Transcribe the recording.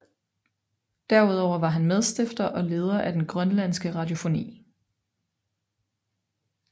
Derudover var han medstifter og leder af den Grønlandske Radiofoni